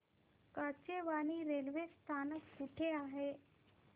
Kachewani railway स्थानक कुठे आहे